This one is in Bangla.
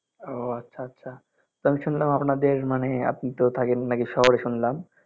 ও আচ্ছা আচ্ছা তা আমি শুনলাম আপনাদের মানে আপনি তো থাকেন নাকি শহরে শুনলাম